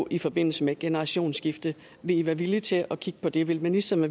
i forbindelse med generationsskifte vi i være villige til at kigge på det vil ministeren